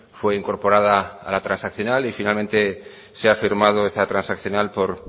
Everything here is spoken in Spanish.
fue incorporada a la transaccional y finalmente se ha firmado esta transaccional por